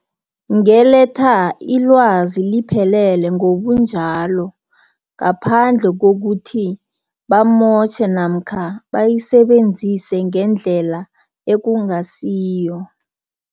Ngeletha ilwazi liphelele ngobunjalo, ngaphandle kokuthi bamotjhe, namkha bayisebenzise ngendlela ekungasiyo.